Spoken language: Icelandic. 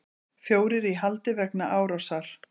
Fjórir í haldi vegna árásar